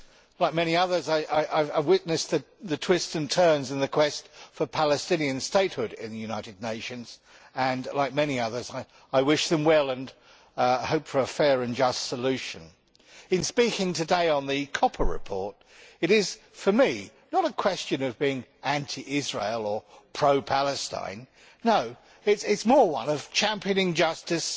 Like many others, I have witnessed the twists and turns in the quest for Palestinian statehood in the United Nations, and like many others I wish them well and hope for a fair and just solution. In speaking today on the Koppa report it is, for me, not a question of being anti Israel or pro Palestine. No it is more one of championing justice